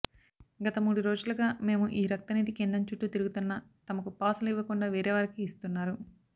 గత మూడు రోజులుగా మేము ఈ రక్త నిధి కేంద్రం చుట్టూ తిరుగుతున్న తమకు పాసులు ఇవ్వకుండా వేరేవారికి ఇస్తున్నారు